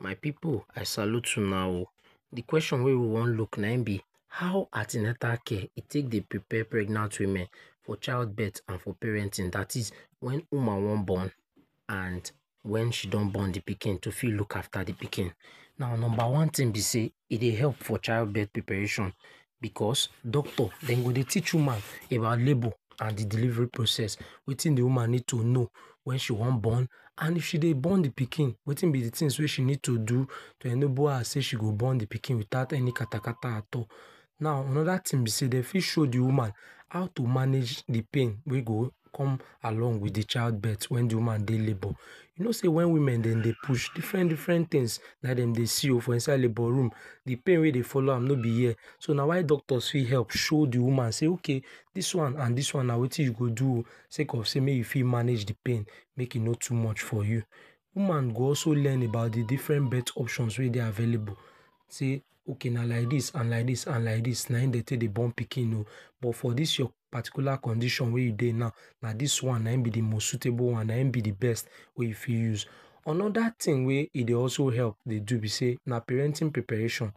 My pipu, I salute una oh. De question wey we wan look na im be how an ten atal care e take dey prepare pregnant women for child birth and for parenting that is, when woman wan born and when she don born de pikin to fit look after de pikin. Now number one thing be sey e dey help for child birth preparation because doctor, dem go dey teach woman about labour and de delivery process, wetin de woman know need to know when she wan born and if she dey born de pikin wetin be the tings wey she need to do to enable her shey she go born de pikin without any katakata at all. Now another ting be sey dem fit show dey women how to manage de pain wey go come along with de child birth wen de woman dey labour. You know sey when women dem dey push, different different things dem dey see oh for inside labour room. De pain wey follow am no be here. So na why Doctors fit help show dem woman say okay, this one and this one na wetin you go do oh say cause sey make you fit manage de pain make e no too much for you. Woman go also learn about de different birth options wey dey available sey okay na like this and like this na im dey take dey born pikin oh but for this your particular condition wey you dey now, na dis one na him be de most suitable one, na im be de best wey you fit use. Another thing wey e dey also help dey do be sey na parenting preparation.